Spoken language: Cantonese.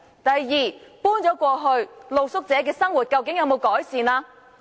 第二，露宿者搬遷後，他們的生活改善了嗎？